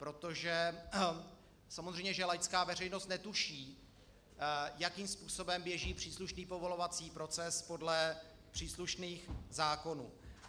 Protože samozřejmě že laická veřejnost netuší, jakým způsobem běží příslušný povolovací proces podle příslušných zákonů.